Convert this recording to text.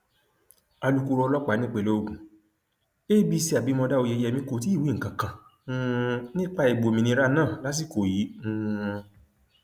alukóró ọlọpàá nípìnlẹ ogun adc abimodá oyeyèmí kò tí ì wí nǹkan kan um nípa ìgbòmìnira náà lásìkò yìí um